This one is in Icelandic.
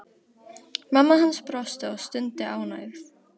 Mamma hans brosti og stundi ánægð.